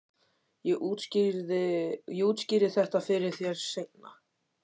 Ég útskýri þetta fyrir þér seinna.